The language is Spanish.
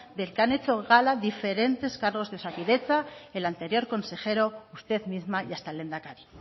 del que han hecho gala diferentes cargos de osakidetza el anterior consejero usted misma y hasta el lehendakari